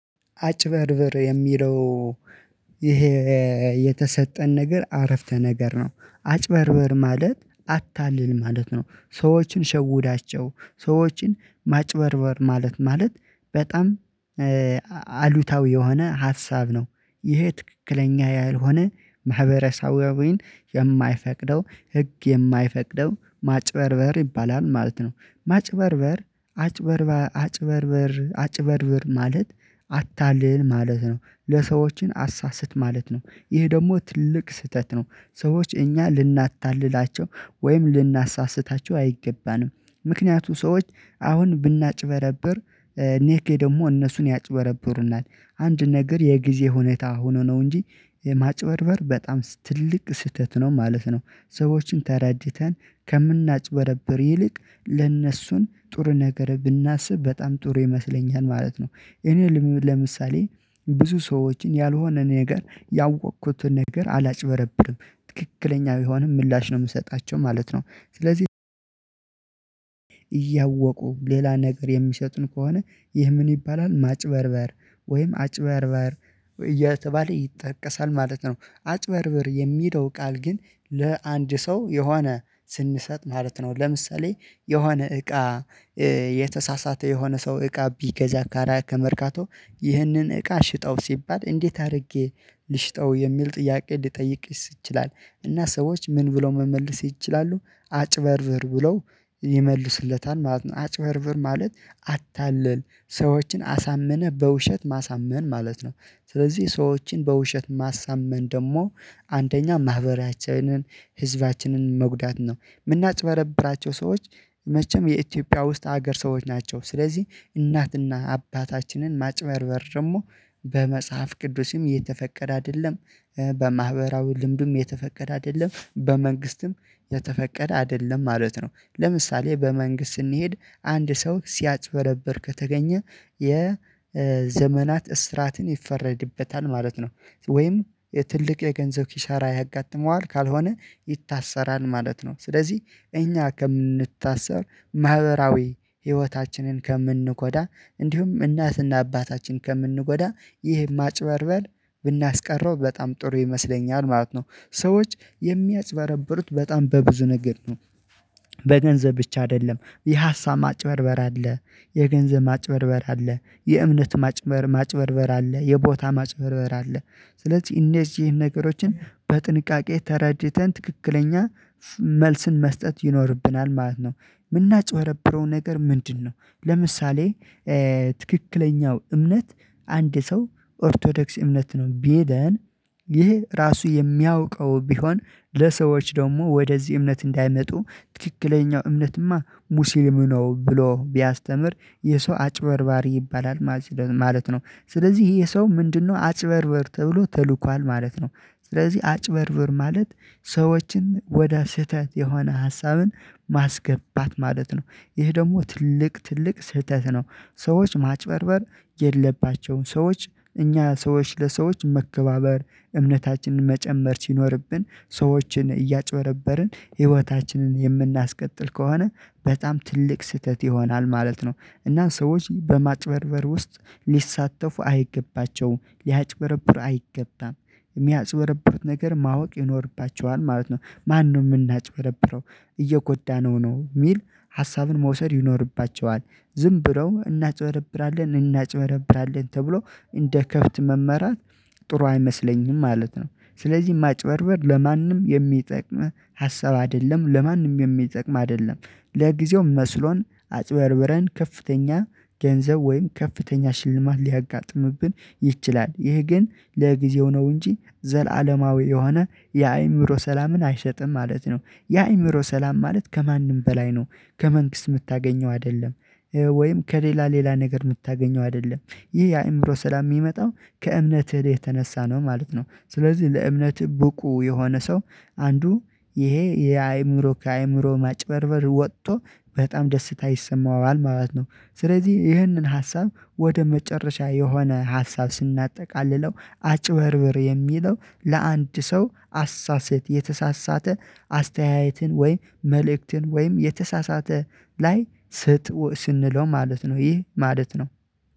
አጭበርብር የሚለው ይሄ የተሰጠን ነገር አረፍተ ነገር ነው። አጭበርብር ማለት አታልል ማለት ነው። ሰዎችን ሸውዳቸው ሰዎችን ማጭበርበር ማለት። በጣም አሉታዊ የሆነ ሀሳብ ነው። ይሄ ትክክለኛ ያልሆነ ማህበረሰባዊን የማይፈቅደው ህግ የማይፈቅደው ማጭበርበር ይባላል ማለት ነው። ማጭበርበር አጭበርበር አጭበርበር አጭበርብር ማለት አታልል ማለት ነው ሰዎችን አሳስት ማለት ነው ይህ ደግሞ ትልቅ ስህተት ነው። ሰዎች እኛ ልናታልላቸው ወይም ልናሳስታቸው አይገባንም። ምክንያቱ ሰዎች አሁን ብናጭበረብር ነገ ደግሞ እነሱም ያጭበረብሩናል። አንድ ነገር የጊዜ ሁኔታ ሆኖ ነው እንጂ ማጭበርበር በጣም ትልቅ ስህተት ነው ማለት ነው። ሰዎችን ተራድተን ከምናጭበረብር ይልቅ ለእነሱን ጥሩ ነገር ብናስብ በጣም ጥሩ ይመስለኛል ማለት ነው። እኔ ለምሳሌ ብዙ ሰዎችን ያልሆነ ነገር ያወቅኩትን ነገር አላጭበረብርም ትክክለኛ ቢሆንም ምላሽ ነው የምሰጣቸው ማለት ነው። ስለዚህ እያወቁ ሌላ ነገር የሚሰጡን ከሆነ ይህ ምን ይባላል ማጭበርበር? ወይም አጭበርበር እየተባለ ይጠቀሳል ማለት ነው። አጭበርብር የሚለው ቃል ግን ለአንድ ሰው የሆነ ስንሰጥ ማለት ነው። ለምሳሌ የሆነ እቃ የተሳሳተ የሆነ ሰው እቃ ቢገዛ ካራ ከመርካቶ ይህንን እቃ ሽጠው ሲባል እንዴት አድርጌ ልሽጠው የሚል ጥያቄ ሊጠይቅ ይችላል? እና ሰዎች ምን ብለው መመልስ ይችላሉ? አጭበርብር ብለው ይመልስለታል ማለት ነው። አጭበርብር ማለት አታለል ሰዎችን አሳምነህ በውሸት ማሳመን ማለት ነው። ስለዚህ ሰዎችን በውሸት ማሳመን ደግሞ አንደኛ ማህበራችንን ህዝባችንን መጉዳት ነው። የምናጭበረብራቸው ሰዎች መቼም የኢትዮጵያ ውስጥ ሀገር ሰዎች ናቸው ስለዚህ እናትና አባታችንን ማጭበርበር ደግሞ በመጽሐፍ ቅዱስም የተፈቀደ አይደለም። በማህበራዊ ልምዱም የተፈቀደ አይደለም በመንግስትም የተፈቀደ አይደለም ማለት ነው። ለምሳሌ በመንግስት ስንሄድ አንድ ሰው ሲያጭበረብር ከተገኘ የዘመናት እስራትን ይፈረድበታል ማለት ነው። ወይም ትልቅ የገንዘብ ኪሳራ ያጋጥመዋል ካልሆነ ይታሰራል ማለት ነው። ስለዚህ እኛ ከምንታሰር ማህበራዊ ህይወታችንን ከምንጎዳ እንዲሁም እናትና አባታችን ከምንጎዳ ይህ ማጭበርበር ብናስቀረው በጣም ጥሩ ይመስለኛል ማለት ነው። ሰዎች የሚያጭበረብሩት በጣም በብዙ ነገር ነው። በገንዘብ ብቻ አይደለም የሀሳብ ማጭበርበር አለ። የገንዘብ ማጭበርበር አለ የእምነት ማጭበርበር ማጭበርበር አለ የቦታ ማጭበርበር አለ። ስለዚህ እነዚህን ነገሮችን በጥንቃቄ ተረድተን ትክክለኛ መልስን መስጠት ይኖርብናል ማለት ነው። የምናጭበረብረው ነገር ምንድን ነው? ለምሳሌ ትክክለኛው እምነት አንድ ሰው ኦርቶዶክስ እምነት ነው ቢለን ይህ ራሱ የሚያውቀው ቢሆን ለሰዎች ደግሞ ወደዚህ እምነት እንዳይመጡ ትክክለኛው እምነትማ ሙስሊም ነው ብሎ ቢያስተምር የሰው አጭበርባሪ ይባላል ማለት ነው። ስለዚህ ይህሰው ምንድነው? አጭበርበር ተብሎ ተልኳል ማለት ነው። ስለዚህ አጭበርብር ማለት ሰዎችን ወደ ስህተት የሆነ ሀሳብን ማስገባት ማለት ነው። ይህ ደግሞ ትልቅ ትልቅ ስህተት ነው። ሰዎች ማጭበርበር የለባቸውም ሰዎች እኛ ሰዎች ለሰዎች መከባበር እምነታችንን መጨመር ሲኖርብን ሰዎችን እያጭበረበርን ህይወታችንን የምናስቀጥል ከሆነ በጣም ትልቅ ስህተት ይሆናል ማለት ነው። እና ሰዎች በማጭበርበር ውስጥ ሊሳተፉ አይገባቸውም ሊያጭበረብር አይገባም። የሚያጭበረብሩትን ነገር ማወቅ ይኖርባቸዋል ማለት ነው። ማንም የምናጭበረብረው እየጎዳነው ነው የሚል ሀሳቡን መውሰድ ይኖርባቸዋል ዝም ብለው እናጭበረብራለን እናጭበረብራለን ተብሎ እንደ ከብት መመራት ጥሩ አይመስለኝም ማለት ነው። ስለዚህ ማጭበርበር ለማንም የሚጠቅም ሀሳብ አይደለም ለማንም የሚጠቅም አይደለም። ለጊዜው መስሎን አጭበርብረን ከፍተኛ ገንዘብ ወይም ከፍተኛ ሽልማት ሊያጋጥምብን ይችላል ይህ ግን ለጊዜው ነው እንጂ ዘላለማዊ የሆነ የአእምሮ ሰላምን አይሰጥም ማለት ነው። የአእምሮ ሰላም ማለት ከማንም በላይ ነው። ከመንግስት የምታገኘው አይደለም ወይም ከሌላ ሌላ ነገር የምታገኘው አይደለም። ይህ የአእምሮ ሰላም የሚመጣው ከእምነትህ የተነሳ ነው ማለት ነው። ስለዚህ ለእምነትህ ብቁ የሆነ ሰው አንዱ ይሄ የአእምሮ ከአእምሮ ማጭበርበር ወጥቶ በጣም ደስታ ይሰማዋል ማለት ነው። ስለዚህ ይህንን ሀሳብ ወደ መጨረሻ የሆነ ሀሳብ ስናጠቃልለው አጭበርብር የሚለው ለአንድ ሰው አሳስት የተሳሳተ አስተያየትን ወይ መልእክትን ወይም የተሳሳተ ስጥ ስንለው ማለት ነው። ይህ ማለት ነው።